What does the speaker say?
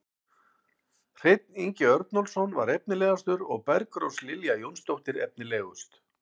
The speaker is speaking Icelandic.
Hreinn Ingi Örnólfsson var efnilegastur og Bergrós Lilja Jónsdóttir efnilegust.